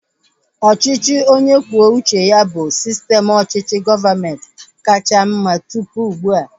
Ọchịchị onye kwuo uche ya bụ sistem ọchịchị gọọmenti kacha mma tụpụ ugbua